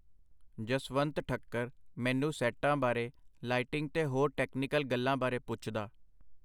ਜਸਵੰਤ ਠੱਕਰ ਮੈਨੂੰ ਸੈੱਟਾਂ ਬਾਰੇ, ਲਾਈਟਿੰਗ ਤੇ ਹੋਰ ਟੈਕਨੀਕਲ ਗੱਲਾਂ ਬਾਰੇ ਪੁੱਛਦਾ.